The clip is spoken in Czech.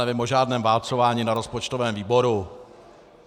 Nevím o žádném válcování na rozpočtovém výboru.